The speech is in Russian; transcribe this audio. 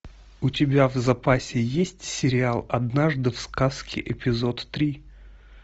у тебя в запасе есть сериал однажды в сказке эпизод три